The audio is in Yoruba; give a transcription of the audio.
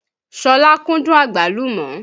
Sọlá kúndùn Àgbálùmọ́